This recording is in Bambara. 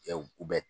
Ɛ u bɛ